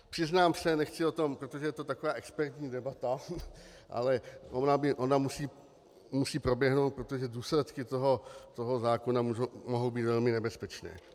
Přiznám se, nechci o tom - protože je to taková expertní debata, ale ona musí proběhnout, protože důsledky toho zákona mohou být velmi nebezpečné.